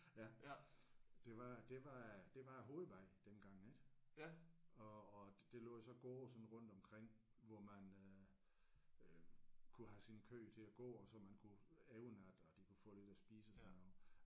Ja. Det var det var det var hovedvejen dengang ik og og der lå jo så gårde sådan rundt omkring hvor man øh øh kunne have sine køer til at gå og så man kunne evne at at de kunne få lidt at spise og sådan noget